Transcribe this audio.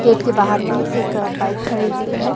Gate के बाहर में एक बाइक खड़ी हुई है।